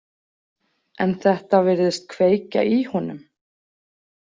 En þetta virðist kveikja í honum.